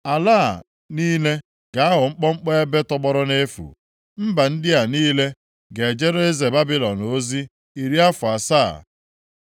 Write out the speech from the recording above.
Ala a niile ga-aghọ mkpọmkpọ ebe tọgbọrọ nʼefu, mba ndị a niile ga-ejere eze Babilọn ozi iri afọ asaa.